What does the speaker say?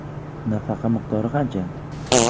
Nafaqa miqdori qancha?